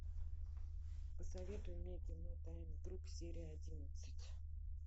посоветуй мне кино тайный друг серия одиннадцать